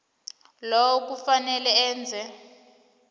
lowo kufanele eze